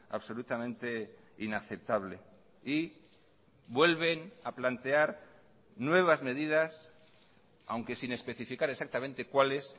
absolutamente inaceptable y vuelven a plantear nuevas medidas aunque sin especificar exactamente cuáles